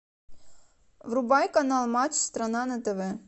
врубай канал матч страна на тв